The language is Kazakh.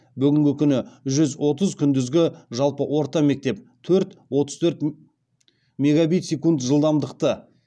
бүгінгі күні жүз отыз күндізгі жалпы орта мектеп төрт отыз төрт мегабит секунд жылдамдықты